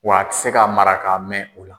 Wa a ti se ka mara ka mɛn o la.